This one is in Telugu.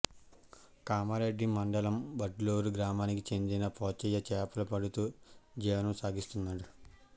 కామారెడ్డి మండలం వడ్లూరు గ్రామానికి చెందిన పోచయ్య చేపలు పడుతూ జీవనం సాగిస్తున్నాడు